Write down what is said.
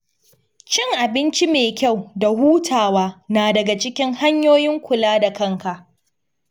Cin abinci mai kyau da hutawa na daga cikin hanyoyin kula da kanka.